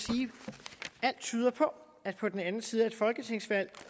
alt tyder på at på den anden side af et folketingsvalg